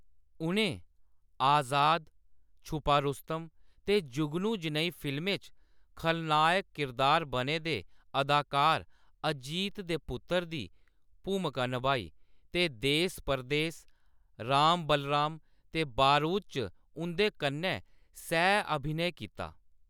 उʼनें 'आज़ाद', 'छुपा रुस्तम' ते जुगनू जनेही फिल्में च खलनायक किरदार बने दे अदाकार अजीत दे पुत्तर दी भूमका नभाई ते 'देस परदेस, 'राम बलराम' ते 'बारूद' च उंʼदे कन्नै सैह् अभिनय कीता।